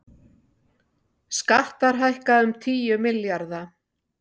Skattar hækka um tíu milljarða